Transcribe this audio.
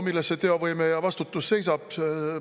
Milles see teovõime ja vastutus seisab?